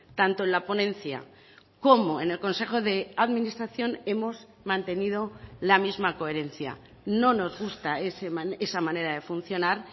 tanto en la ponencia como en el consejo de administración hemos mantenido la misma coherencia no nos gusta esa manera de funcionar